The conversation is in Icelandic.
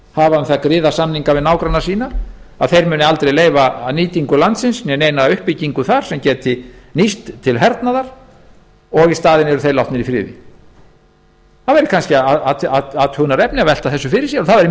hafa um það griðarsamninga við nágranna sína að þeir muni aldrei leyfa neina nýtingu landsins né neina uppbyggingu þar sem geti nýst til hernaðar og eru í staðinn látnir í friði það væri kannski athugunarefni að velta þessu fyrir sér og það væri